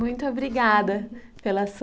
Muito obrigada pela sua